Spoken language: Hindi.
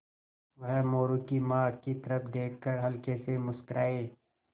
वह मोरू की माँ की तरफ़ देख कर हल्के से मुस्कराये